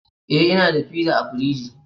eh, ina da pizza a fridgi